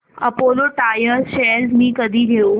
Apollo tyres shares मी कधी घेऊ